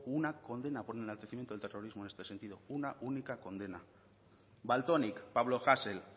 hubo una condena por enaltecimiento del terrorismo en este sentido una única condena valtonyc pablo hasel